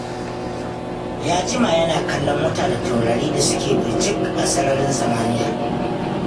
Ya jima yana kallon wata da taurari da suke birjik a sararin samaniya